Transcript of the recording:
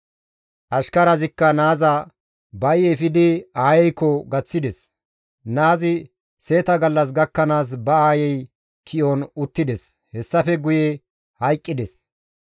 Ashkarazikka naaza ba7i efidi aayeykko gaththides; naazi seeta gallas gakkanaas ba aayey ki7on uttides; hessafe guye hayqqides.